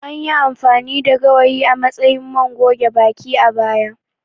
Anyi amfani da gawayi a matsayin man goge baki, a baya.